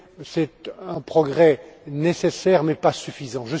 C'est un progrès nécessaire mais pas suffisant.